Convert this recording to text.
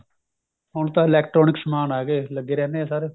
ਹੁਣ ਤਾਂ electronic ਸਮਾਨ ਆਏ ਗਾ ਲੱਗੇ ਰਹਿਨੇ ਏ sir